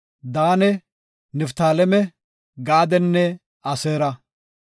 Daane, Niftaaleme, Gaadenne Aseera.